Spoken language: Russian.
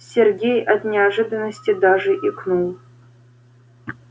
сергей от неожиданности даже икнул